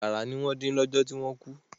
Àkàrà ni wọ́n dín lọ́jọ́ tí wọ́n kú.